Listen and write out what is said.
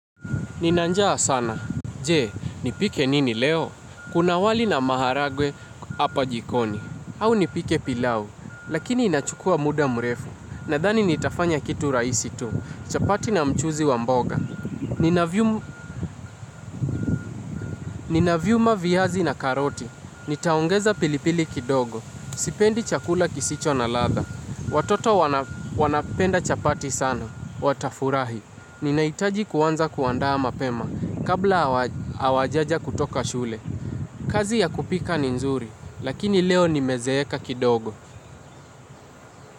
Nina njaa sana. Je, nipike nini leo? Kuna wali na maharagwe hapa jikoni. Au nipike pilau, lakini inachukua muda mrefu. Nadhani nitafanya kitu rahisi tu. Chapati na mchuzi wa mboga. Ninaviuma viazi na karoti. Nitaongeza pilipili kidogo. Sipendi chakula kisicho na ladha. Watoto wanapenda chapati sana. Watafurahi. Ni nahitaji kuanza kuandaa mapema kabla hawajaja kutoka shule. Kazi ya kupika ni nzuri, lakini leo nimezeeka kidogo.